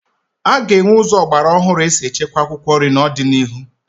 A ga-enwe ụzọ ọgbara ọhụrụ esi echekwa akwụkwọ nri n'ọdịnihu